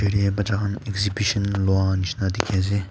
tray baccha khan exhibition loa nisna dikhi ase.